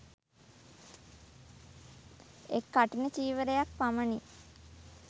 එක් කඨින චීවරයක් පමණි